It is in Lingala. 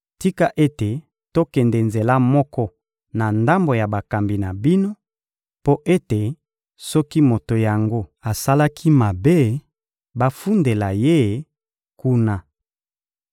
Tika ete tokende nzela moko na ndambo ya bakambi na bino, mpo ete, soki moto yango asalaki mabe, bafundela ye kuna.